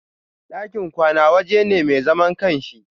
ɗakin kwana waje ne mai zaman ƙanshi.